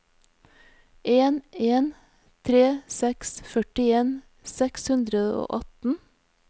en en tre seks førtien seks hundre og atten